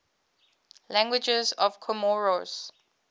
languages of comoros